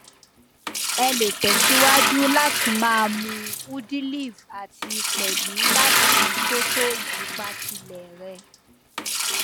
ẹ lè tẹsíwájú láti máa mún udiliv àti pẹlú láti tótó ìdípatílẹ rè